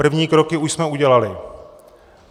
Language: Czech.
První kroky už jsme udělali.